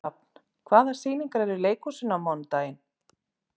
Rafn, hvaða sýningar eru í leikhúsinu á mánudaginn?